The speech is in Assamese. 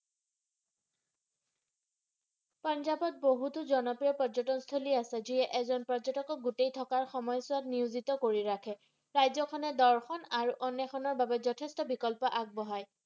পাঞ্জাবত বহুতো জনপ্ৰিয় পৰ্যটনস্থলী আছে যিয়ে এজন পৰ্যটকক গোটেই থকাৰ সময়চোৱাত নিওজিত কৰি ৰাখে ৰাজ্যখনে দৰ্শন আৰু অন্নেষনৰ বাবে যথেষ্ট বিকল্প আগবঢ়াই।